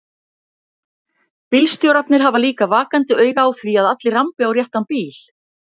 Bílstjórarnir hafa líka vakandi auga á því að allir rambi á réttan bíl.